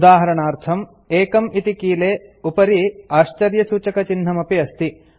उदाहरणार्थम् 1 इति कीले उपरि आश्चर्यसूचकचिह्नमपि अस्ति